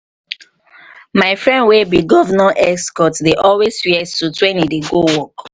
my friend wey be governor excort dey always wear suit when he dey go work